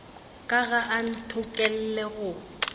ka ga a ntokolle go